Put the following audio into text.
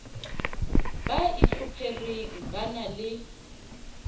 ba itlhophereng ba na le